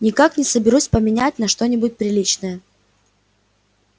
никак не соберусь поменять на что-нибудь приличное